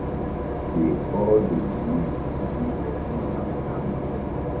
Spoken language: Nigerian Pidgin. dey all dey believed to be of north african descent